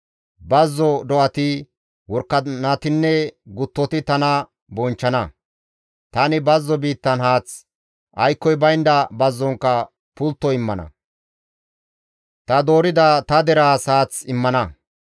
Bazzo do7ati, worakanatinne guttoti tana bonchchana. Tani bazzo biittan haath, aykkoy baynda bazzonkka pultto immana; ta doorida ta deraas haath immana.